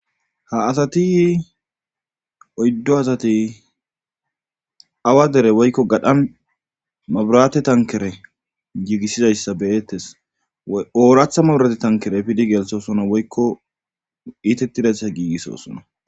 ha asati oyddo asati awa dere woykko gadhan maburate tankere giigissidayssa beettes ooratha maburate tankere pidi geelthosona woykko iitettidetsa giigissosona